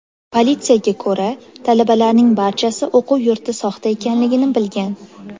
Politsiyaga ko‘ra, talabalarning barchasi o‘quv yurti soxta ekanligini bilgan.